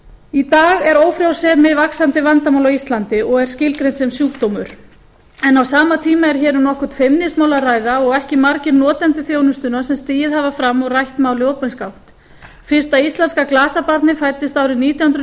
í dag er ófrjósemi vaxandi vandamál á íslandi og er skilgreint sem sjúkdómur á sama tíma er hér um nokkurt feimnismál að ræða og ekki margir notendur þjónustunnar sem stigið hafa fram og rætt málið opinskátt fyrsta íslenska glasabarnið fæddist árið nítján hundruð níutíu